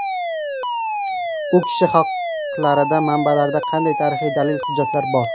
U kishi haqlarida manbalarda qanday tarixiy dalil-hujjatlar bor?